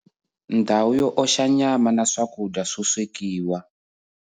Ndhawu yo oxa nyama na swakudya swo swekiwa